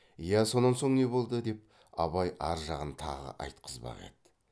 я сонан соң не болды деп абай ар жағын тағы айтқызбақ еді